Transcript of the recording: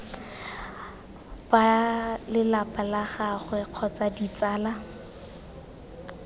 balelapa la gagwe kgotsa ditsala